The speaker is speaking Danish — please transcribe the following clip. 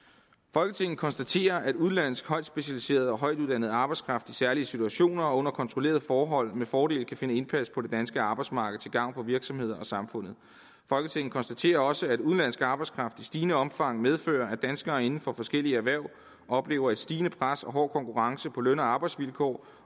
folketinget konstaterer at udenlandsk højt specialiseret og højtuddannet arbejdskraft i særlige situationer og under kontrollerede forhold med fordel kan finde indpas på det danske arbejdsmarked til gavn for virksomheder og samfundet folketinget konstaterer også at udenlandsk arbejdskraft i stigende omfang medfører at danskere inden for forskellige erhverv oplever et stigende pres og hård konkurrence på løn og arbejdsvilkår